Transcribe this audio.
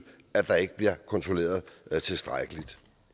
at der ikke bliver kontrolleret tilstrækkeligt